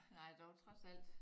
Nej dog trods alt